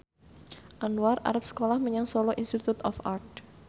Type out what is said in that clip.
Anwar arep sekolah menyang Solo Institute of Art